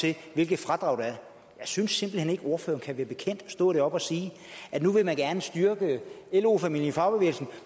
til hvilket fradrag der er jeg synes simpelt hen ikke at ordføreren kan være bekendt at stå deroppe og sige at nu vil man gerne styrke lo familien i fagbevægelsen